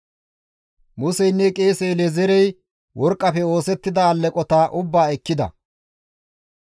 Museynne qeese El7ezeerey worqqafe oosettida alleqota ubbaa ekkida.